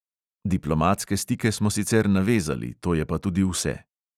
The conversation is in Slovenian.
Diplomatske stike smo sicer navezali, to je pa tudi vse.